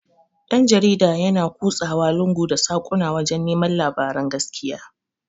Dan-jarida yana ƙusawa lungu da saƙuna wajan neman labaran gaskiya.